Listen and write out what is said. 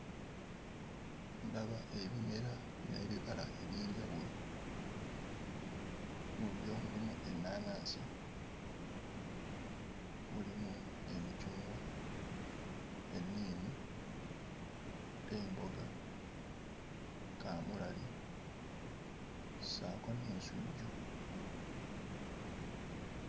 Ndaba ebimera n'ebibala eby'enjawulo mu byo mulimu ennaanansi mulimu emicungwa, enniimu, emboga, kaamulali ssaako n'ensujju.